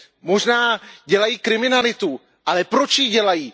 Možná dělají kriminalitu, ale proč ji dělají?